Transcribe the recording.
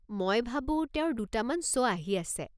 মই ভাবো তেওঁৰ দুটামান শ্ব' আহি আছে।